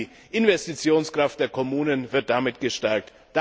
Gerade die Investitionskraft der Kommunen wird damit gestärkt.